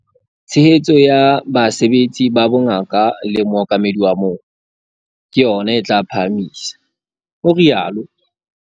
"Tshehetso ya basebetsi ba bongaka le mookamedi wa moo - ke yona e tla o phahamisa," o rialo.